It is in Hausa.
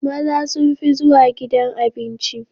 Maza sun fi zuwa gidan Abinci